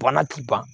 Bana ti ban